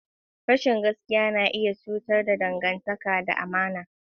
Rashin gaskiya na iya cutar da dangantaka da amana.